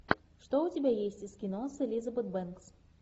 что у тебя есть из кино с элизабет бэнкс